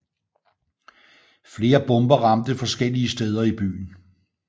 Flere bomber ramte forskellige steder i byen